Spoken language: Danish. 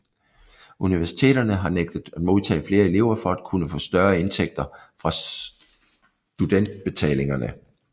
Universiteterne har nægtet at modtage flere elever for at kunne få større indtægter fra studentbetalingerne